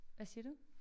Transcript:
Hvad siger du?